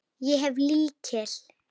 Ég hef lykil.